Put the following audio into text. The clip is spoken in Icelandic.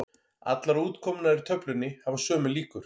Allar útkomurnar í töflunni hafa sömu líkur.